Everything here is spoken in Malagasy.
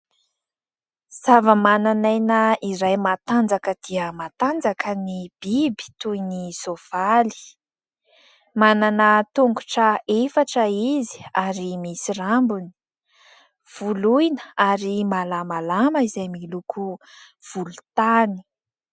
Zavamananaina iray matanjaka dia matanjaka ny biby toy ny soavaly, manana tongotra efatra izy ary misy rambony, voloina ary malamalama izay miloko volontany.